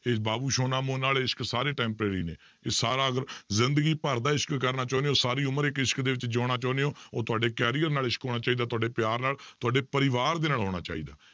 ਇਹ ਬਾਬੂ ਸੋਨਾ ਮੋਨਾ ਵਾਲੇ ਇਸ਼ਕ ਸਾਰੇ temporary ਨੇ, ਇਹ ਜ਼ਿੰਦਗੀ ਭਰ ਦਾ ਇਸ਼ਕ ਕਰਨਾ ਚਾਹੁਨੇ ਹੋ ਸਾਰੀ ਉਮਰ ਇੱਕ ਇਸ਼ਕ ਦੇ ਵਿੱਚ ਜਿਉਣਾ ਚਾਹੁੰਦੇ ਹੋ ਉਹ ਤੁਹਾਡੇ career ਨਾਲ ਇਸ਼ਕ ਹੋਣਾ ਚਾਹੀਦਾ ਤੁਹਾਡੇ ਪਿਆਰ ਨਾਲ, ਤੁਹਾਡੇ ਪਰਿਵਾਰ ਦੇ ਨਾਲ ਹੋਣਾ ਚਾਹੀਦਾ।